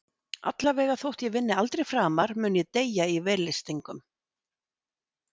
Allavega, þótt ég vinni aldrei framar mun ég deyja í vellystingum.